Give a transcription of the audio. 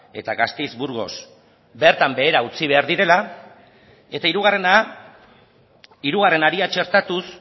eta gasteiz burgos bertan behera utzi behar direla eta hirugarrena hirugarren haria txertatuz